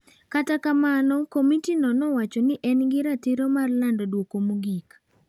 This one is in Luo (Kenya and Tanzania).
Kata kamano, komitino nowacho ni en gi ratiro mar lando duoko mogik.